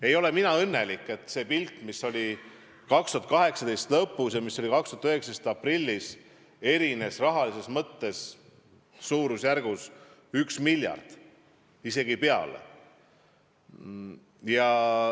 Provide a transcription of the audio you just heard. Ei ole mina õnnelik, et see pilt, mis oli 2018. aasta lõpus, ja pilt, mis oli 2019. aasta aprillis, erinevad rahalises mõttes suurusjärgus 1 miljard, isegi rohkem.